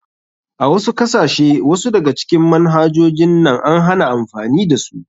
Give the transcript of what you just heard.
A wasu kasashe wasu daga cikin manhajojin nan an hana amfani da su.